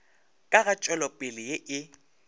ka ga tšwelopele ye e